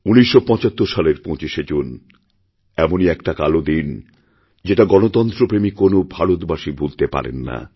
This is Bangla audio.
১৯৭৫ সালের ২৫শে জুন এমনই একটা কালো দিন যেটাগণতন্ত্রপ্রেমী কোনও ভারতবাসী ভুলতে পারেন না